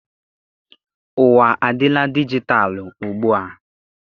Ụwa adịla dijitalụ ugbua.